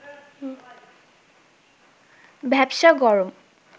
ভ্যাপসা গরম